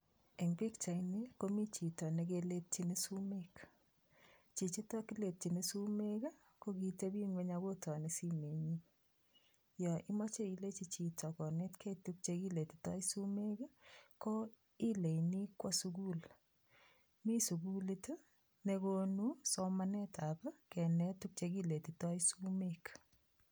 Eng' pikchaini komi chito nekeletyini sumek chichito kiletyini sumek ko kitebing'weny akotoni simenyu yo imoche ilechi chito konetkei tukche kiletitoi sumek ko ileini kwo sukul mi sukulit nekonu somanetab kenet tukche kiletitoi sumek